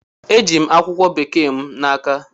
E ji'm akwụkwọ Bekee m n'aka.